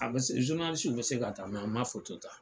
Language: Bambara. A be se, be se ka ta an ma ta.